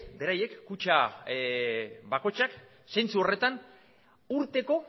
beraiek kutxa bakoitzak zentsu horretan urteko